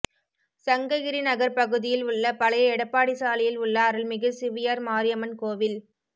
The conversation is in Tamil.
சங்ககிரி நகர் பகுதியில் உள்ள பழைய எடப்பாடி சாலையில் உள்ள அருள்மிகு சிவியார் மாரியம்மன் கோவில்